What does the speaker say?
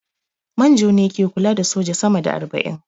Manjo ne ke kula da soja sama da arba'in